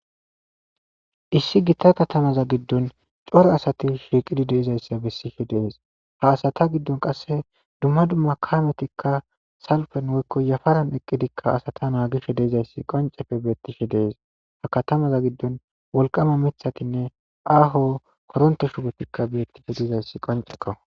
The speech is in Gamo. Issi gitta katamaza giddon coro asati shiiqidi deizayssa bessishe dees ha asata giddon qasse dumma dumma kaametikka salfen woykko yafaran eqqidikka asata naagishe deezayssi qoncefe beettishe dees ha katamaza giddon wolqama mithatinne aaho koronte shubetikka beettishe deizayssi qonceko.